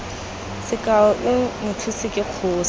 sekao i mothusi ke kgosi